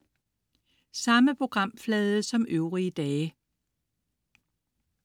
Samme programflade som øvrige dage